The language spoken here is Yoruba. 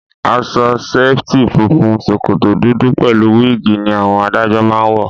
Aṣọ ṣẹ̀ẹ́tì funfun, ṣòkòtò dúdú pẹ̀lú wíìgì ni àwọn adájọ́ máá ń wọ